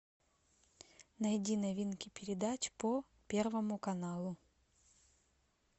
найди новинки передач по первому каналу